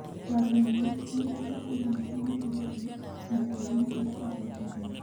Kwaria ma nĩ njata cigana ciamũkĩrĩtĩ mũtambo-inĩ wa ũthuthuria.